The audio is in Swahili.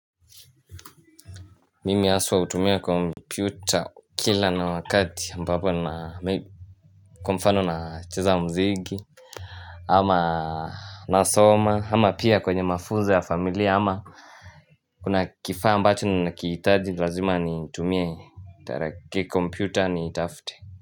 Mimi aswa hutumia kompyuta kila na wakati ambapo na kwa mfano na cheza mziki ama nasoma ama pia kwenye mafunzo ya familia ama kuna kifaa ambacho ninakihitaji nilazima ni tumie taraki komputa ni itafute.